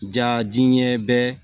Ja diɲɛ bɛɛ